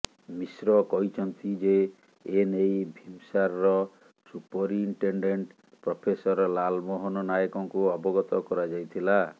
ମିଶ୍ର କହିଛନ୍ତି ଯେ ଏନେଇ ଭିମସାରର ସୁପରୀଟେଣ୍ଡେଣ୍ଟ ପ୍ରଫେସର ଲାଲ୍ ମୋହନ ନାୟକଙ୍କୁ ଅବଗତ କରାଯାଇଥିଲା